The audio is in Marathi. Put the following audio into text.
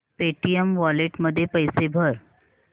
पेटीएम वॉलेट मध्ये पैसे भर